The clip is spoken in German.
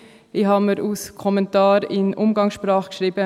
Ich habe mir als Kommentar in Umgangssprache notiert: